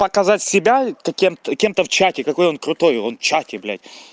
показать себя кем-то кем-то в чате какой он крутой он в чате блядь